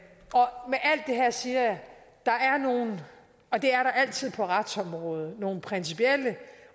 her siger jeg at der er nogle og det er der altid på retsområdet principielle